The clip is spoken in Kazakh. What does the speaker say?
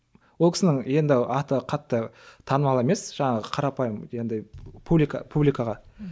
ол кісінің енді аты қатты танымал емес жаңағы қарапайым енді публика публикаға